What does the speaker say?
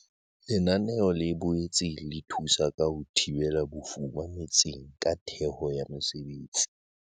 Lenaneo le boetse le thusa ka ho thibela bofuma metseng ka theho ya mesebetsi.